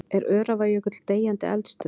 Er Öræfajökull deyjandi eldstöð?